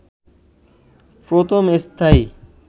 প্রথম স্থায়ী